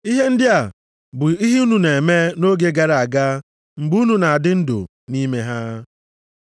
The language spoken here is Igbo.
Ihe ndị a bụ ihe unu na-eme nʼoge gara aga mgbe unu na-adị ndụ nʼime ha.